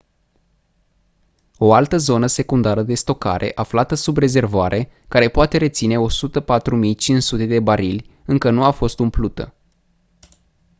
o altă zonă secundară de stocare aflată sub rezervoare care poate reține 104.500 de barili încă nu a fost umplută